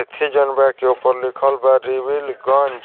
एथी जौन बा के की ऊपर लिखल बा रिवीलगंज।